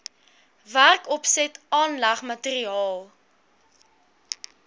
werkopset aanleg materiaal